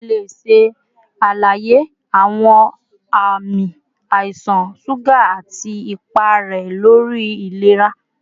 Ṣe o le ṣe alaye awọn ami aisan suga ati ipa rẹ lori ilera?